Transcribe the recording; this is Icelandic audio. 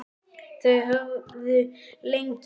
Þau höfðu lengi reynt.